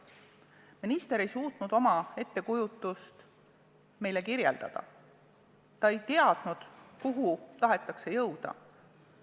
Minister ei suutnud oma ettekujutust meile kirjeldada, ta ei teadnud, kuhu tahetakse jõuda.